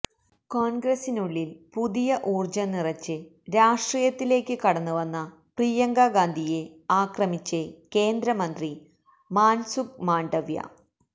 കോണ്ഗ്രസിനുള്ളില് പുതിയ ഊര്ജം നിറച്ച് രാഷ്ട്രീയത്തിലേക്ക് കടന്ന് വന്ന പ്രിയങ്ക ഗാന്ധിയെ ആക്രമിച്ച് കേന്ദ്ര മന്ത്രി മാന്സുഖ് മാണ്ഡവ്യ